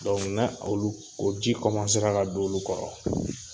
Donku na olu o ji ka don olu kɔrɔ